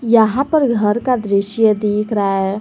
यहां पर घर का दृश्य दिख रहा है।